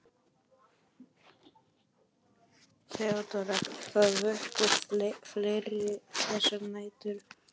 THEODÓRA: Það vöktu fleiri þessar nætur.